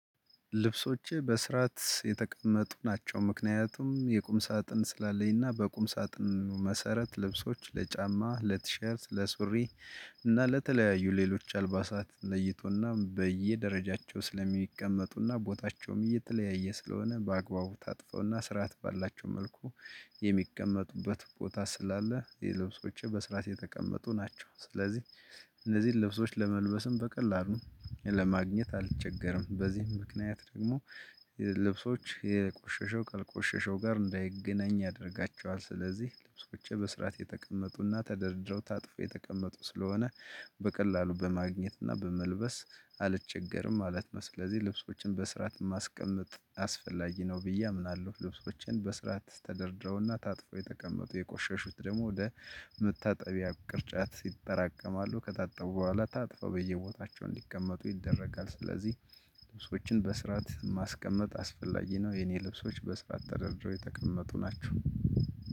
ልብሶቼ በስራት የተቀመጡ ናቸው ምክንያቱም የቁም ሳጥን ስላለኝና በቁም ሳጥን መሰረት ልብሶች ለጫማ ለቲሸርት ለሱሪ እና ለተለያዩ ሌሎች አልባሳት ለይቶና በየደረጃቸው ስለሚቀመጡና ቦታቸውም የተለያየ ስለሆነ በአግባቡ ታጥፈውና ስርዓት ባላቸው መልኩ የሚቀመጡበት ቦታ ስላለ የልብሶችህ በስርዓት የተቀመጡ ናቸው። ስለዚህ እነዚህን ልብሶች ለመልበስም በቀላሉ ለማግኘት አልቸገርም በዚህም ምክንያት ደግሞ ልብሶች የቆሸሸው ከቆሸሸው ጋር እንዳይገናኝ ያደርጋቸዋል ስለዚህ ልብሶችቼ በስርዓት የተቀመጡና ተደርድረው ታጥፎ የተቀመጡ ስለሆነ በቀላሉ በማግኘትና በመልበስ አልችግርም ማለት ነው። ስለዚህ ልብሶችን በስርዓት ማስቀመጥ አስፈላጊ ነው ብዬ አምናለው። ልብሶቼን በስርዓት ተደርድረውና ታጥፎ የተቀመጡ የቆሸሹት ደግሞ ወደ መታጠቢያ ቅርጫት ሲጠራቀማሉ ከታጠቡ ቦኋላ ታጥፎ በየቦታቸው እንዲቀመጡ ይደረጋል ስለዚህ ልብሶችን በስርዓት ማስቀመጥ አስፈላጊ ነው የኔ ልብሶች በስራት ተደርድሮ የተቀመጡ ናቸው።